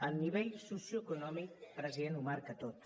el nivell socioeconòmic president ho marca tot